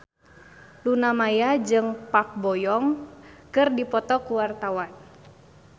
Luna Maya jeung Park Bo Yung keur dipoto ku wartawan